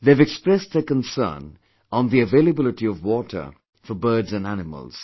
They've expressed their concern on the availability of water for birds & animals